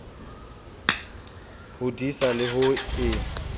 ho disa le ho e